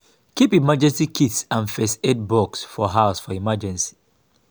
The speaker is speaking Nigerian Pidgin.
keep emergency kits and first aid box for house for emergency